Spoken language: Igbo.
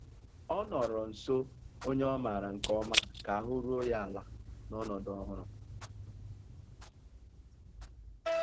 Ọ nọ̀rọ̀ nsó ònyè ọ́ mààra nkè ọ̀ma kà àhụ́ rùó ya àla n'ọnọ́dụ́ ọ̀hụrụ́.